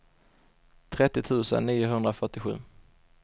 trettio tusen niohundrafyrtiosju